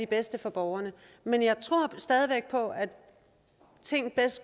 bedste for borgerne men jeg tror stadig væk på at ting